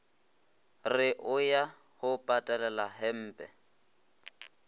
re o ya go patelelahempe